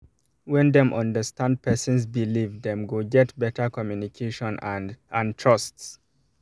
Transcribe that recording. when dem understand person's believe dem go get better communication and and trust